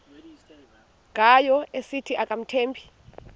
ngayo esithi akamthembi